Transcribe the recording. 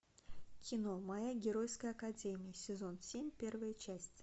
кино моя геройская академия сезон семь первая часть